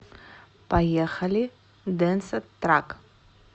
поехали денса трак